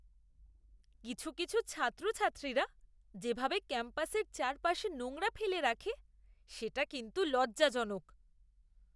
কিছু কিছু ছাত্রছাত্রীরা যেভাবে ক্যাম্পাসের চারপাশে নোংরা ফেলে রাখে সেটা কিন্তু লজ্জাজনক!